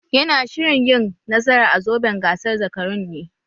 Yana shirin yin nasara a zoben gasar zakarun neh